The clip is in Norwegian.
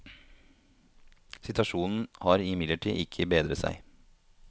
Situasjonen har imidlertid ikke bedret seg.